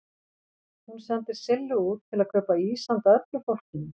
Hún sendir Sillu út til að kaupa ís handa öllu fólkinu.